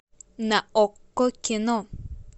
на окко кино